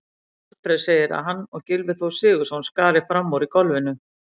Alfreð segir að hann og Gylfi Þór Sigurðsson skari fram úr í golfinu.